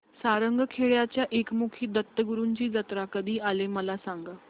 सारंगखेड्याच्या एकमुखी दत्तगुरूंची जत्रा कधी आहे मला सांगा